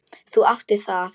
Þú átt það.